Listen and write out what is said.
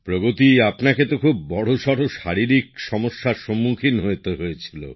প্রগতি আপনাকে তো খুব বড়সড় শারীরিক সমস্যার সসম্মুখীন হতে হয়েছিল